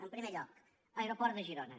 en primer lloc aeroport de girona